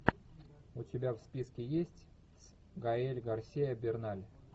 у тебя в списке есть гаэль гарсиа берналь